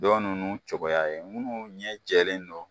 Dɔ nunnu cogoya ye munnu ɲɛ jɛlen don